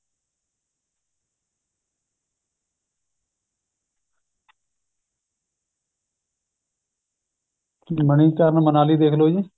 ਮਨੀਕਰਣ ਮਨਾਲੀ ਦੇਖਲੋ ਜ਼ੀ